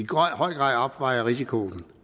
grad opvejer risikoen